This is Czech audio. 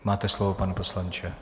Máte slovo, pane poslanče.